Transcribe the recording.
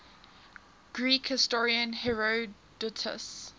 greek historian herodotus